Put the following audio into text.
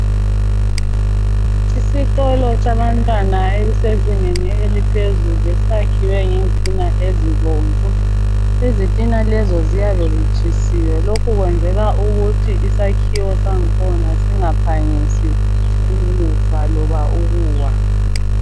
Isikolo sabantwana elisezingeni eliphezulu sakhiwe ngezitina ezibomvu. Izitina lezi ziyabe zitshisiwe lokhu kwenzelwa ukuthi isakhiwo sakhona singaphangisi ukufa loba ukuwa